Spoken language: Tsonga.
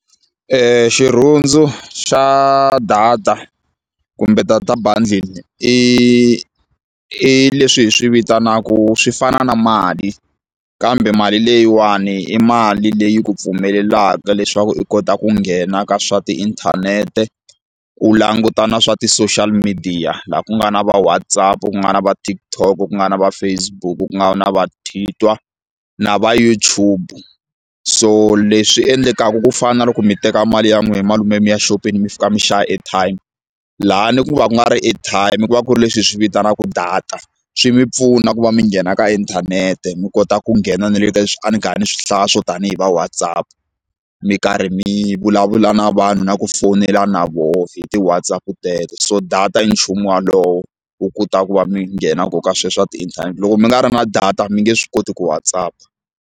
Xirhundzu xa data kumbe data bundle i leswi hi swi vitanaku swi fana na mali kambe mali leyiwani i mali leyi ku pfumelelaka leswaku i kota ku nghena ka swa tiinthanete u languta na swa ti-social media laha ku nga na va WhatsApp ku nga na va TikTok ku nga na va Facebook ku nga na va Twitter na va YouTube so leswi endlekaku ku fana na loko mi teka mali ya n'wina malume ya mi ya xopeni mi fika mi xava airtime laha ni ku va ku nga ri airtime ku va ku ri leswi hi swi vitanaka data swi mi pfuna ku va mi nghena ka inthanete mi kota ku nghena na le ka a ni karhi ni swi hlaya swo tanihi va WhatsApp mi karhi mi vulavula na vanhu na ku fowunela na voho hi ti WhatsApp teto so data i nchumu walowo wu kotaka ku va mi nghena ko ka sweswo swa ti loko mi nga ri na data mi nge swi koti ku WhatsApp-a.